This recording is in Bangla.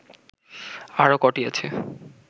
আরও কটি আছে